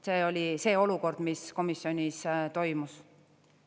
See oli see olukord, mis komisjonis toimus.